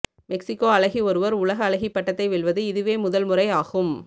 Mexico அழகி ஒருவர் உலக அழகி பட்டத்தை வெல்வது இதுவே முதல் முறை ஆகும்